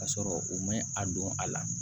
Ka sɔrɔ u ma a don a la